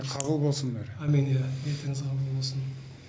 кабыл болсын әмин иә ниетіңіз қабыл болсын